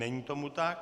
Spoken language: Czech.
Není tomu tak.